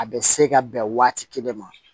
A bɛ se ka bɛn waati kelen ma